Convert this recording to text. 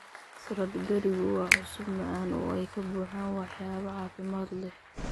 Salad Giriiggu waa cusub, macaan, oo ay ka buuxaan waxyaabo caafimaad leh.